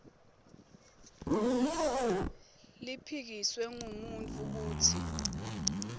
liphikiswe ngumuntfu kutsi